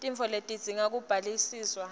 tintfo letidzinga kubukisiswa